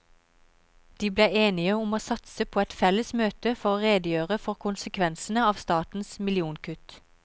De ble enige om å satse på et felles møte for å redegjøre for konsekvensene av statens millionkutt.